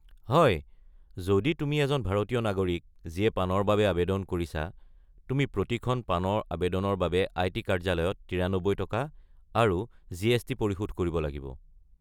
হয়, যদি তুমি এজন ভাৰতীয় নাগৰিক যিয়ে পানৰ বাবে আৱেদন কৰিছা, তুমি প্ৰতিখন পানৰ আৱেদনৰ বাবে আই.টি. কাৰ্য্যালয়ত ৯৩ টকা আৰু জি.এছ.টি পৰিশোধ কৰিব লাগিব।